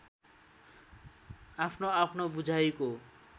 आफ्नो आफ्नो बुझाइको